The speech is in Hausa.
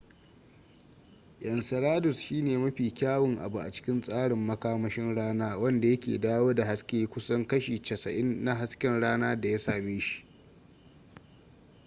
enceladus shine mafi kyawun abu a cikin tsarin makamashin rana wanda yake dawo da hasken kusan kashi 90 na hasken rana da ya same shi